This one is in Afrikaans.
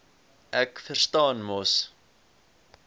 ek verstaan mos